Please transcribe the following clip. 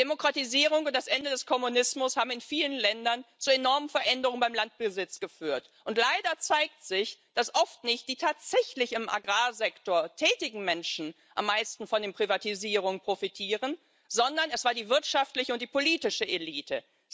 Die Demokratisierung und das Ende des Kommunismus haben in vielen Ländern zu enormen Veränderungen beim Landbesitz geführt, und leider zeigt sich, dass oft nicht die tatsächlich im Agrarsektor tätigen Menschen am meisten von den Privatisierungen profitieren, sondern es war die wirtschaftliche und die politische Elite.